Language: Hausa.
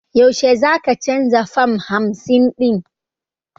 Yaushe za ka canza fam hamsin ɗin?